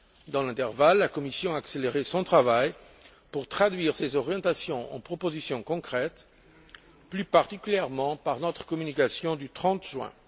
Dans l'intervalle, la Commission a accéléré son travail pour traduire ces orientations en propositions concrètes, plus particulièrement dans sa communication du 30 juin.